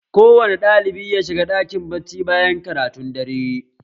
Ko wane ɗalibi ya shiga ɗakin bacci bayan karatun dare!